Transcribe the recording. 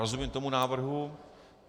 Rozumím tomu návrhu.